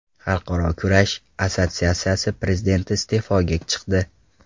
Xalqaro kurash assotsiatsiyasi prezidenti iste’foga chiqdi.